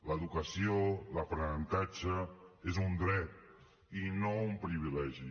l’educació l’aprenentatge és un dret i no un privilegi